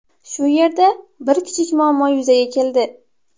Shu yerda bir kichik muammo yuzaga keldi.